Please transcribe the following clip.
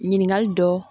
Ɲininkali dɔ